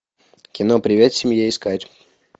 кино привет семье искать